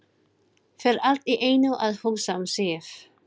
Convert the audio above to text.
Fer allt í einu að hugsa um Sif.